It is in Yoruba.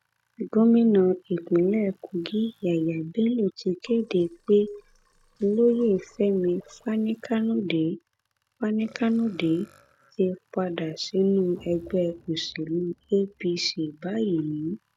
gomina ìpínlẹ kogi yah yahy bello ti kéde pé olóyè fẹmi fanikanode fanikanode ti padà sínú ẹgbẹ òsèlú apc báyìí